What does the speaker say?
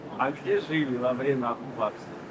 A siz qalırsız işğal vaxtında?